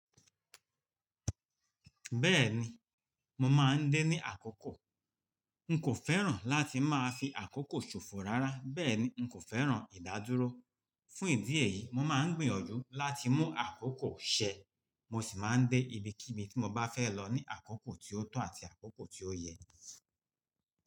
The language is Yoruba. Bẹ́ẹ̀ni, mo máa ń dé ní àkókò. N kò fẹ́ràn láti máa fi àkókò ṣòfò rárá, bẹ́ẹ̀ ni n kò fẹ́ràn ìdádúró. Fún ìdí èyí, mo máa ń gbìyànjú láti mú àkókò ṣẹ, mo sì máa ń dé ibi kí bi tí mo bá fẹ́ lọ ní àkókò tí ó tọ́ àti àkókò tí ó yẹ.